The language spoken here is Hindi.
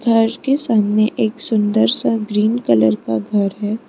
घर के सामने एक सुंदर सा ग्रीन कलर का घर है।